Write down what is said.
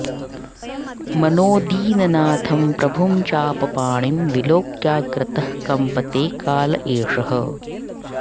मनो दीननाथं प्रभुं चापपाणिं विलोक्याग्रतः कम्पते काल एषः